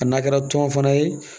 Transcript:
A n'a kɛra tɔn fana ye